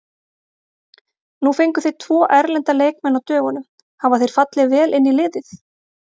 Nú fenguð þið tvo erlenda leikmenn á dögunum, hafa þeir fallið vel inn í liðið?